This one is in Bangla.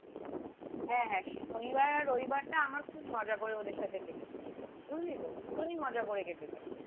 হ্যাঁ হ্যাঁ শনিবার আর রবিবারটা আমার খুব মজা করে ওদের সাথে কেটে যায় বুঝলিতো ভীষণই মজা করে কেটে যায়